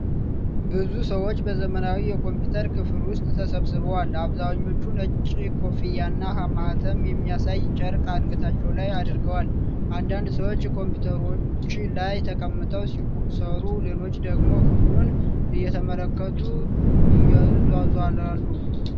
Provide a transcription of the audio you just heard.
ብዙ ሰዎች በዘመናዊ የኮምፒውተር ክፍል ውስጥ ተሰብስበዋል። አብዛኞቹ ነጭ ኮፍያና ማኅተም የሚያሳይ ጨርቅ አንገታቸው ላይ አድርገዋል። አንዳንድ ሰዎች ኮምፒውተሮች ላይ ተቀምጠው ሲሰሩ፣ ሌሎቹ ደግሞ ክፍሉን እየተመለከቱ ይዟዟራሉ።